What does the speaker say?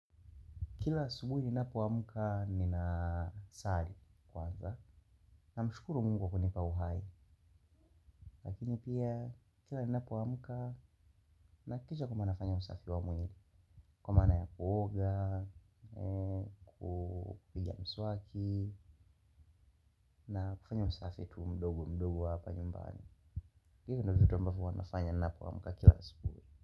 KIla asubuhi ninapoamka ninasali kwanza namshukuru Mungu kunipa uhai. Lakini pia kila ninapoamka nahakikisha kwamba nafanya usafi wa mwili kwa maana ya kuoga kupiga mswaki na kufanya usafi tu mdogo mdogo hapa nyumbani hiyo ndio vitu ambavyo huwa nafanya ninapoamka kila asubuhi.